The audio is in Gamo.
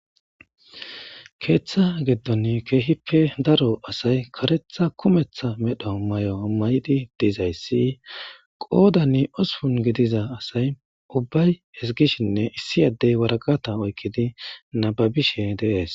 keeththa geddon keehippe daro asay karetha kumeththa medho may7o mayidi dizayssi qoodanni osupun gidiza asay ubbay hesgishinne issi addey waraqata oykkidi nababishe dees